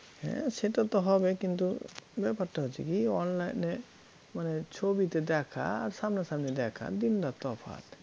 হ্যাঁ সেটা তো হবেই কিন্তু ব্যাপারটা হচ্ছে কী? online এ মানে ছবিতে দেখা আর সামনাসামনি দেখা দিন রাত তফাত